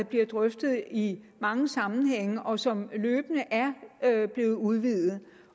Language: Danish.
bliver drøftet i mange sammenhænge og som løbende er blevet udvidet